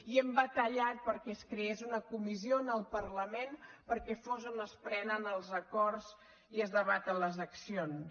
i hem batallat perquè es creés una comissió en el parlament perquè fos on es prenen els acords i es debaten les accions